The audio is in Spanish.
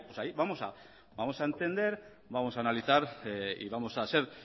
ahí vamos a entender vamos a analizar y vamos a ser